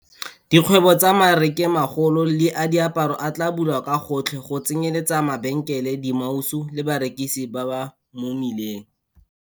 Dikgwebo tsa marekelomagolo le a diaparo a tla bulwa ka gotlhe, go tsenyeletsa mabenkele, dimausu le barekisi ba mo mebileng.